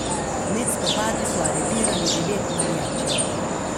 Med spopadi so aretirali devet navijačev.